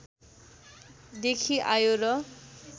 देखि आयो र